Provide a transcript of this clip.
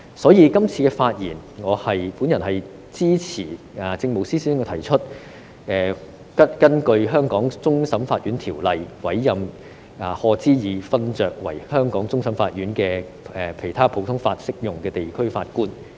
所以，我今次發言支持政務司司長提出，根據《香港終審法院條例》委任賀知義勳爵為香港終審法院的其他普通法適用地區法官。